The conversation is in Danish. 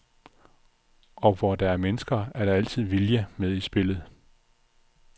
Og hvor der er mennesker, er der altid vilje med i spillet.